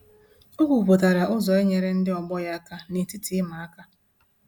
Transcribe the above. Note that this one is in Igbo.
O kwuputara ụzọ inyere ndị ọgbọ ya aka na-etiti ịma aka